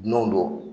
Dunanw don